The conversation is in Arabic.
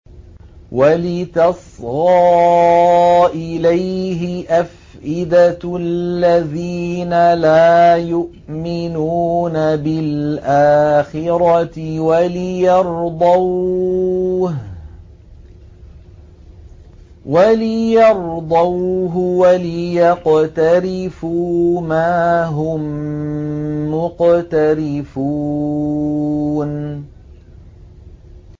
وَلِتَصْغَىٰ إِلَيْهِ أَفْئِدَةُ الَّذِينَ لَا يُؤْمِنُونَ بِالْآخِرَةِ وَلِيَرْضَوْهُ وَلِيَقْتَرِفُوا مَا هُم مُّقْتَرِفُونَ